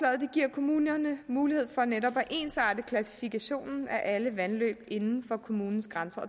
kommunerne mulighed for netop at ensarte klassifikationen af alle vandløb inden for kommunens grænser